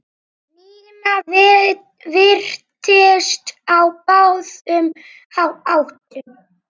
Nína virtist á báðum áttum.